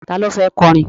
Ta ló fẹ́ kọrin?